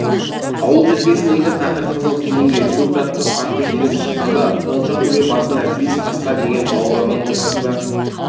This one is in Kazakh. ауыл желкесіндегі тақыр қызыл кезеңге төрт атты қатты желіп шыққанда құлыншақ төбе басында бес қасқа деген балаларының ортасында